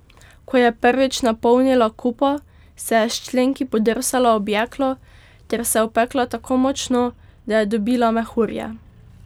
Ko je prvič napolnila kupo, se je s členki podrsala ob jeklo ter se opekla tako močno, da je dobila mehurje.